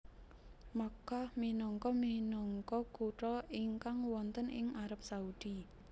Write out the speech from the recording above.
Makkah minangka minangka kutha ingkang wonten ing Arab Saudi